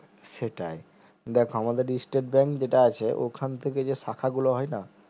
সেটাই দেখো আমাদের স্টেট bank যেটা আছে ওখান থেকে যে শাখা গুলো হয় না